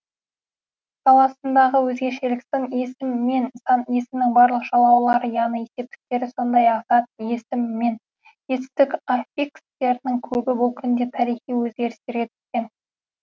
саласындағы өзгешелік сын есім мен сан есімнің барлық жалғаулары яғни септіктері сондай ақ зат есім мен етістік аффикстерінің көбі бұл күнде тарихи өзгерістерге түскен